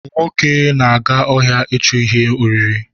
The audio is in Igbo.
Nwoke na-aga ọhịa ichu ihe oriri